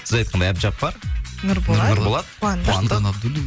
сіз айтқандай әбдіжаппар нұрболат қуандық